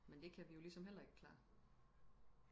men det kan vi jo ligesom heller ikke klare